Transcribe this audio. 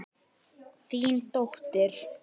Þín dóttir.